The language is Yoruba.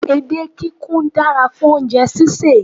Edé kikù dára fún oúnjẹ sísè